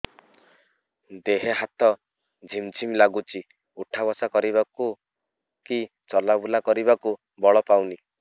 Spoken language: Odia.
ଦେହେ ହାତ ଝିମ୍ ଝିମ୍ ଲାଗୁଚି ଉଠା ବସା କରିବାକୁ କି ଚଲା ବୁଲା କରିବାକୁ ବଳ ପାଉନି